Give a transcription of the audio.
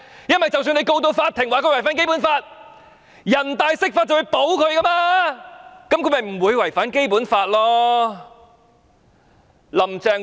因為即使入稟法庭控告她違反《基本法》，人大常委會會釋法保護她，那樣她便不會違反《基本法》了。